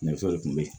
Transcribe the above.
Nɛgɛso de tun bɛ yen